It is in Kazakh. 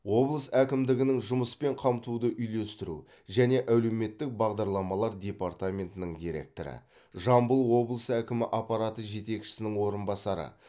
облыс әкімдігінің жұмыспен қамтуды үйлестіру және әлеуметтік бағдарламалар департаментінің директоры жамбыл облысы әкімі аппараты жетекшісінің орынбасары